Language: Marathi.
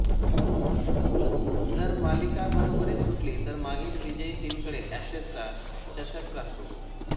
जर मालिका बरोबरीत सुटली तर मागील विजयी टीमकडे ऍशेसचा चषक राहतो